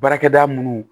Baarakɛda minnu